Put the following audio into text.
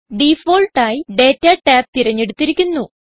default ആയി data tab തിരഞ്ഞെടുത്തിരിക്കുന്നു